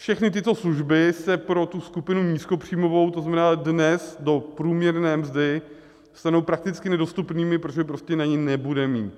Všechny tyto služby se pro tu skupinu nízkopříjmovou, to znamená dnes do průměrné mzdy, stanou prakticky nedostupnými, protože prostě na ně nebude mít.